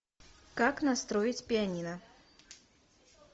как настроить пианино